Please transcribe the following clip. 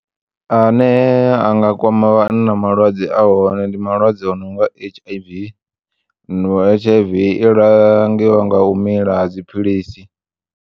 Ane a nga kwama vhanna malwadze ahone ndi malwadze a nonga H_I_V H_I_V i langiwa nga u mila dziphilisi.